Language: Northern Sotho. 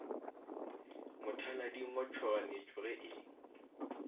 mothalading wa tšhoganetšo ge e